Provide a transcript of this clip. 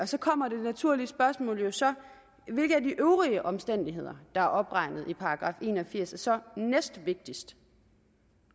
så kommer det naturlige spørgsmål jo så hvilken af de øvrige omstændigheder der er opregnet i § en og firs er så næstvigtigst